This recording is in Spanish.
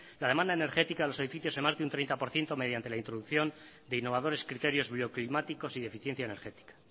la demanda energética a los edificios de más de un treinta por ciento mediante la introducción de innovadores criterios bioclimáticos y de eficiencia energética